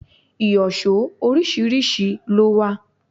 Ìyọ̀ṣó oríṣiríṣi ló wà.